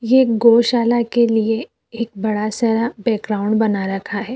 ये एक गौशाला के लिए एक बड़ा सरा बैकग्राउंड बना रखा है।